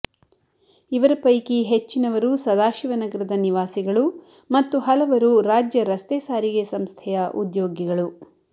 ಇವರ ಪೈಕಿ ಹೆಚ್ಚಿನವರು ಸದಾಶಿವನಗರದ ನಿವಾಸಿಗಳು ಮತ್ತು ಹಲವರು ರಾಜ್ಯ ರಸ್ತೆ ಸಾರಿಗೆ ಸಂಸ್ಥೆಯ ಉದ್ಯೋಗಿಗಳು